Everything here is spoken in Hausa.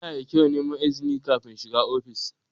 Yana da kyau neman izini kafin shiga ofis.